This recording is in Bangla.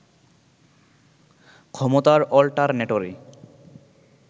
ক্ষমতার অল্টারনেটরে